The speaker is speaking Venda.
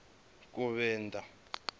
kuvenḓa